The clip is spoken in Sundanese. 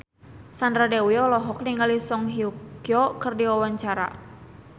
Sandra Dewi olohok ningali Song Hye Kyo keur diwawancara